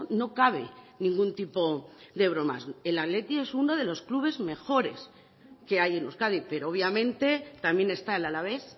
no cabe ningún tipo de bromas el athletic es uno de los clubes mejores que hay en euskadi pero obviamente también está el alavés